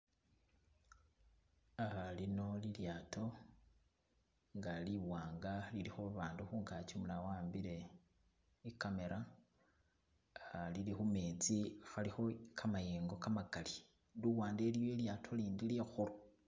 lino lilyato i'nga liwanga, liliko abantu kungaki, umulala wawambile ikamela, lili kumetsi kaliko kamayengo kamakali, luwande iliyo ilyato lindi likulu